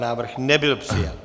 Návrh nebyl přijat.